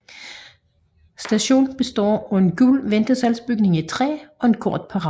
Stationen består af en gul ventesalsbygning i træ og en kort perron